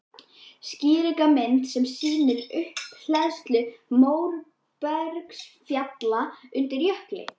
Skýringarmynd sem sýnir upphleðslu móbergsfjalla undir jökli.